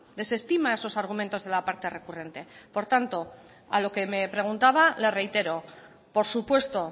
desestima esos argumentos de la parte recurrente por tanto a lo que me preguntaba le reitero por supuesto